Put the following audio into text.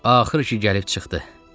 Axır ki gəlib çıxdı.